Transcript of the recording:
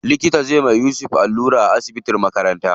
Likita zai iya yusuf allura a asibitin makaranta.